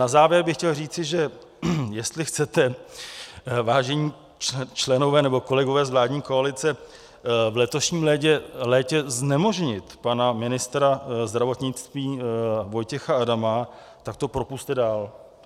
Na závěr bych chtěl říci, že jestli chcete, vážení členové nebo kolegové z vládní koalice v letošním létě znemožnit pana ministra zdravotnictví Vojtěcha Adama, tak to propusťte dál.